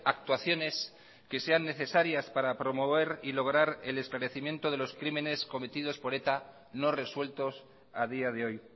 actuaciones que sean necesarias para promover y lograr el esclarecimiento de los crímenes cometidos por eta no resueltos a día de hoy